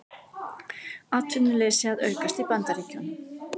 Atvinnuleysi að aukast í Bandaríkjunum